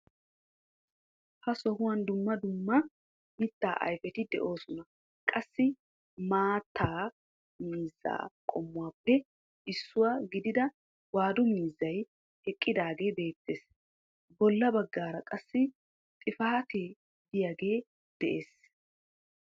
Ha sohuwaan dumma dumma mittaa ayfeti de'oosona. qassi maatta miizzaa qommuwaappe issuwaa gidiida waadu miizzaay eqqdaagee beettees. Bolla baggara qassi xifaatee de'iyaagee de'ees.